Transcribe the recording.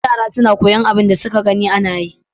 Yara na koyan abun da suke gani anayi